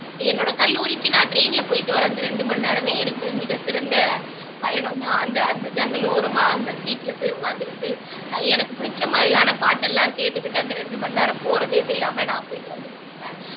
என்னோட கல்லூரிக்கு நான் train ல போயிட்டு வர அந்த இரண்டு மணி நேரமே எனக்கு மிகச்சிறந்த பயணம்தான் அந்த அந்த ஜன்னல் ஓரமா அந்த seat ல போய் உட்கார்ந்துகிட்டு எனக்கு பிடிச்ச மாதிரியான பாட்டெல்லாம் கேட்டுகிட்டு அந்த ரெண்டு மணி நேரம் போறதே தெரியாம நான் போயிட்டு வந்துட்டு இருப்பேன்